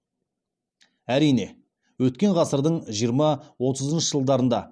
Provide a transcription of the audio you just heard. әрине өткен ғасырдың жиырма отызыншы жылдарында